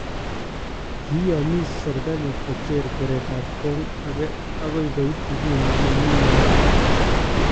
Kiyamiis serikaliit kocheer keretab kong akee ako koit inguni mamii yautiik